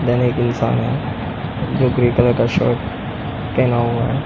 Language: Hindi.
दैन एक इंसान है जो ग्रे कलर का शर्ट पहना हुआ है ।